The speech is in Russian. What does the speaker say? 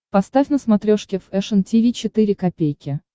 поставь на смотрешке фэшн ти ви четыре ка